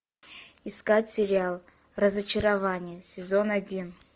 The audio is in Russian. искать сериал разочарование сезон один